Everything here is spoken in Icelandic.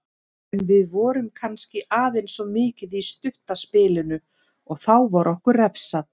En við vorum kannski aðeins of mikið í stutta spilinu og þá var okkur refsað.